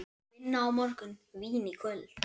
Vinna á morgun, vín í kvöld.